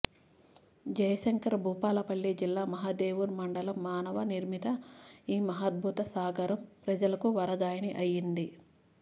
జయశంకర్ భూపాలపల్లి జిల్లా మహదేవ్పూర్ మండలంలో మానవ నిర్మిత ఈ మహాద్భుత సాగరం ప్రజలకు వరదాయిని అయింది